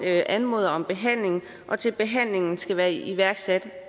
anmoder om behandling til behandlingen skal være iværksat